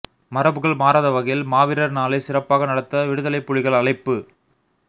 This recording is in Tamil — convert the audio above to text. மரபுகள் மாறாத வகையில் மாவீரர் நாளை சிறப்பாக நடத்த விடுதலைப் புலிகள் அழைப்பு